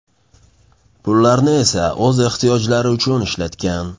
Pullarni esa o‘z ehtiyojlari uchun ishlatgan.